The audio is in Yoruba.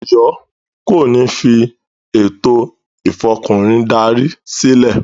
Ọ̀yọ́ kò ní fi “ ètò Ìfọkùnrin darí” sílẹ̀.